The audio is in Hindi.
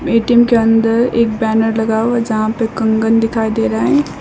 ए_टी_एम के अंदर एक बैनर लगा हुआ जहां पे कंगन दिखाई दे रहा है।